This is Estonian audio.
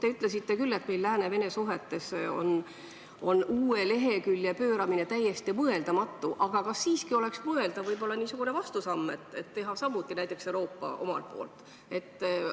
Te ütlesite küll, et meil on Lääne ja Vene suhetes uue lehekülje pööramine täiesti mõeldamatu, aga kas siiski oleks mõeldav astuda niisugune vastusamm näiteks Euroopa poolt?